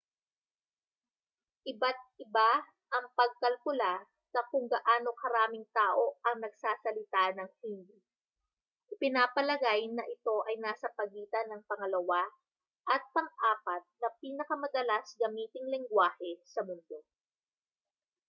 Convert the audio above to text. iba't iba ang pagkalkula sa kung gaano karaming tao ang nagsasalita ng hindi ipinapalagay na ito ay nasa pagitan ng pangalawa at pang-apat na pinakamadalas gamiting lengguwahe sa mundo